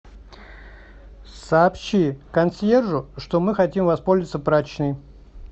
сообщи консьержу что мы хотим воспользоваться прачечной